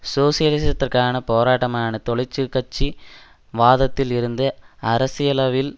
சோசியலிசத்திற்கான போராட்டமான தொழிசிற் கட்சி வாதத்தில் இருந்து அரசியளவில்